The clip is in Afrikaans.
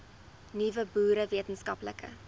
nuwe boere wetenskaplike